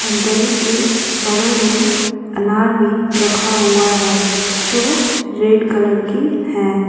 दरी के बगल में अनार भी रखा हुआ है जो रेड कलर की है।